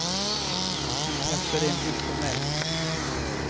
Han kastade en blick på mig.